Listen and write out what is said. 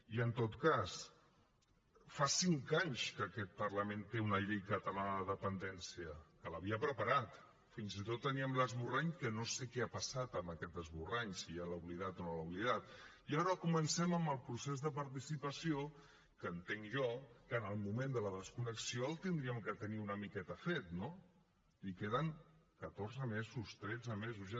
i en tot cas fa cinc anys que aquest parlament té una llei catalana de dependència que l’havia preparat fins i tot teníem l’esborrany que no sé què ha passat amb aquest esborrany si ja l’ha oblidat o no l’ha oblidat i ara comencem amb el procés de participació que entenc jo que en el moment de la desconnexió l’hauríem de tenir una miqueta fet no li queden catorze mesos tretze mesos ja